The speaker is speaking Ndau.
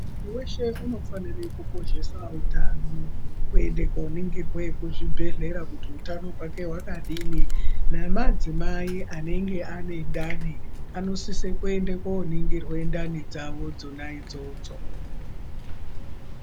Muntu weshe anofana kukoshesa utano kuenda koningirwa kuzvibhedhlera kuti hutano hwake hwakadini nemadzimai anenge ane ndani anosisa kuenda koningirwa ndani dzawo dzona idzodzo.